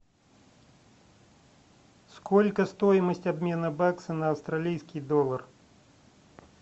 сколько стоимость обмена бакса на австралийский доллар